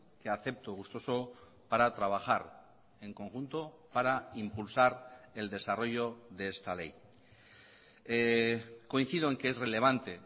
que acepto gustoso para trabajar en conjunto para impulsar el desarrollo de esta ley coincido en que es relevante